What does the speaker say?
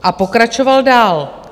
A pokračoval dál.